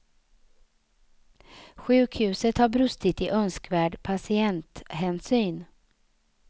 Sjukhuset har brustit i önskvärd patienthänsyn.